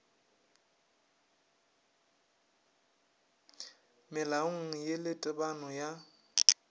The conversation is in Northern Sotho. melaong ye le tebano ya